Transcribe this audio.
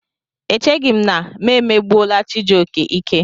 Echeghị m na megbuola Chijioke ike.